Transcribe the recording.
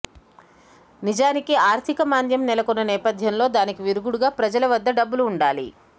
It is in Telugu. నిజానికి అర్థిక మాంద్యం నెలకొన్న నేపథ్యంలో దానికి విరుగుడుగా ప్రజల వద్ద డబ్బులు ఉండాలి